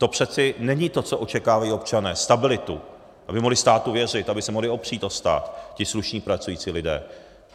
To přece není to, co očekávají občané - stabilitu, aby mohli státu věřit, aby se mohli opřít o stát ti slušní pracující lidé.